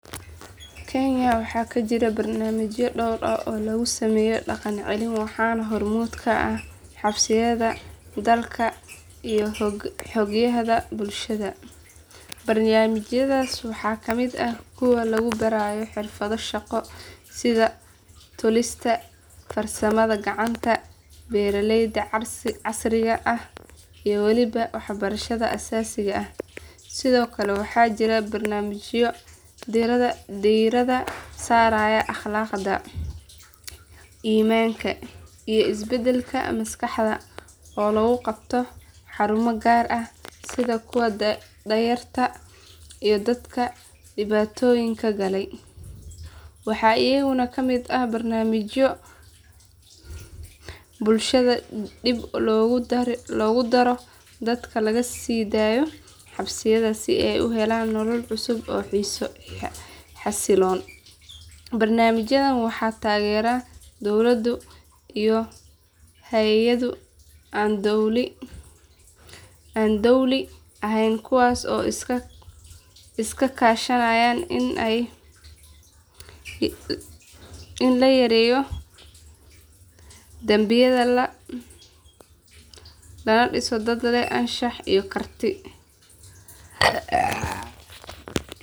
Kenya waxaa ka jira barnaamijyo dhowr ah oo lagu sameeyo dhaqan celin waxaana hormuud ka ah xabsiyada dalka iyo hay'adaha bulshada. Barnaamijyadaas waxaa ka mid ah kuwa lagu baraayo xirfado shaqo sida tolistada, farsamada gacanta, beeraleyda casriga ah, iyo weliba waxbarashada aasaasiga ah. Sidoo kale waxaa jira barnaamijyo diiradda saaraya akhlaaqda, iimaanka, iyo isbeddelka maskaxda oo lagu qabto xarumo gaar ah sida kuwa da'yarta iyo dadka dhibaatooyinka galay. Waxaa iyaguna ka mid ah barnaamijyo bulshada dib loogu daro dadka laga sii daayo xabsiyada si ay u helaan nolol cusub oo xasiloon. Barnaamijyadan waxaa taageera dowladdu iyo hay’ado aan dowli ahayn kuwaas oo iska kaashanaya in la yareeyo dambiyada lana dhiso dad leh anshax iyo karti.